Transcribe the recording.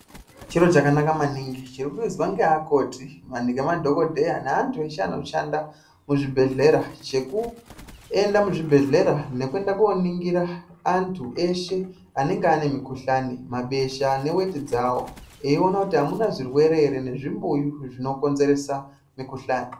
Chiro chakanaka maningi chirikuizwa ngeakoti ngalemadhogodheya ngeantu eshe anoshanda muzvibhedhlera chekuenda muzvibhedhlera nekuenda kooningira antu eshe anenge ane mikhuhlani, mabesha neweti dzawo eiona kuti amuna zvirewere ere mezvimbuyu zvinokonzeresa mikhuhlani.